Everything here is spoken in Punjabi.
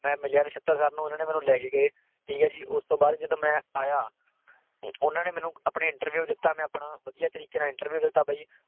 ਮੈਂ ਮਿਲਿਆ ਨਸ਼ਤਰ sir ਨੂੰ। ਉਹਨਾਂ ਨੇ ਮੈਨੂੰ ਲੈ ਕੇ ਗਏ। ਠੀਕ ਹੈ ਜੀ। ਉਸਤੋਂ ਬਾਅਦ ਜਦੋਂ ਮੈਂ ਆਇਆ, ਉਹਨਾਂ ਨੇ ਮੈਨੂੰ ਆਪਣੇ interview ਦਿੱਤਾ ਮੈਂ ਆਪਣਾ, ਵਧਿਆ ਤਰੀਕੇ ਨਾਲ interview ਦਿੱਤਾ ਬਈ।